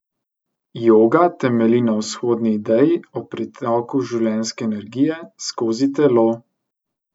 Joga temelji na vzhodni ideji o pretoku življenjske energije skozi telo.